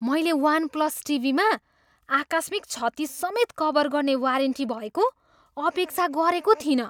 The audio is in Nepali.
मैले वान प्लस टिभीमा आकस्मिक क्षति समेत कभर गर्ने वारेन्टी भएको अपेक्षा गरेको थिइनँ।